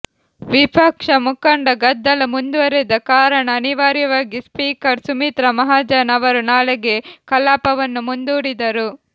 ವಿಫಕ್ಷ ಮುಖಂಡ ಗದ್ದಲ ಮುಂದುವರೆದ ಕಾರಣ ಅನಿವಾರ್ಯವಾಗಿ ಸ್ಪೀಕರ್ ಸುಮಿತ್ರಾ ಮಹಾಜನ್ ಅವರು ನಾಳೆಗೆ ಕಲಾಪವನ್ನು ಮುಂದೂಡಿದರು